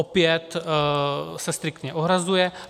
Opět se striktně ohrazuje.